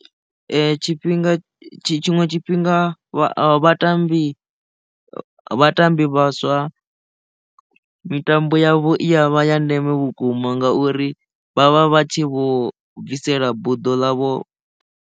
Tshifhinga tshiṅwe tshifhinga vha vhatambi vhatambi vhaswa mitambo yavho i ya vha ya ndeme vhukuma ngauri vha vha vha tshi vho bvisela buḓo ḽavho.